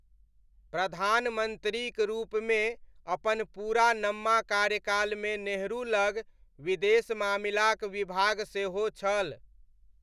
प्रधानमन्त्रीक रूपमे अपन पूरा नम्मा कार्यकालमे नेहरू लग विदेश मामिलाक विभाग सेहो छल।